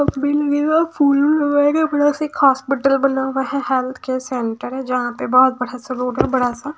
फूल उल लगाए गए हैं बड़ा सा एक हॉस्पिटल बना हुआ है हेल्थ केयर सेंटर है जहां पे बहोत बड़ा सा रोड है बड़ा सा--